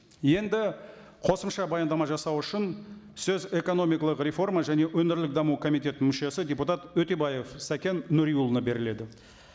енді қосымша баяндама жасау үшін сөз экономикалық реформа және өңірлік даму комитетінің мүшесі депутат өтебаев сәкен нуриұлына беріледі